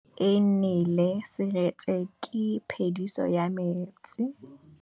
Fa pula e nelê serêtsê ke phêdisô ya metsi.